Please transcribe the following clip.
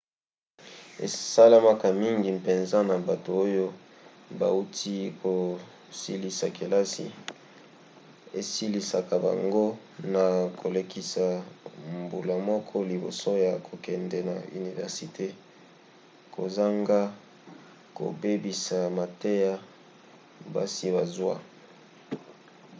esalemaka mingi mpenza na bato oyo bauti kosilisa kelasi esalisaka bango na kolekisa mbula moko liboso ya kokende na université kozanga kobebisa mateya basi bazwa